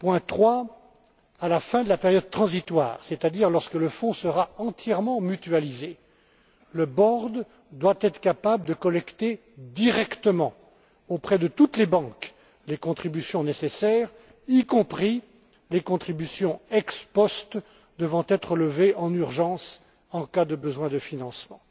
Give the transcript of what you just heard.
Troisièmement, à la fin de la période transitoire, c'est à dire lorsque le fonds sera entièrement mutualisé, le conseil de résolution devra être capable de collecter directement, auprès de toutes les banques, les contributions nécessaires, y compris les contributions ex post devant être levées en urgence en cas de besoin de financement.